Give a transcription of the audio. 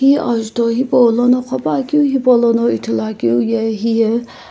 hi ajutho hipaulono qhopakeu hipaulono ithuluakeu ye hiye.